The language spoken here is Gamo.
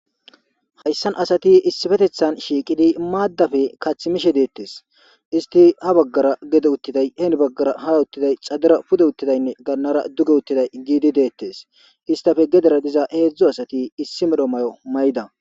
Hayssan asati issifetethan shiiqidi maaddafe kathimishe deettes isti ha baggara gede uttiday heeni baggara ha uttiday xadera pude uttidaynne gannara duge uttiday giidi deettes istafe gedera diza heedzdzu asati issi medho may''o mayida.